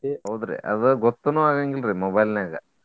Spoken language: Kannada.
ಹೌದ್ರಿ ಅದ ಗೊತ್ತನು ಆಗಾಂಗಿಲ್ರಿ mobile ನ್ಯಾಗ.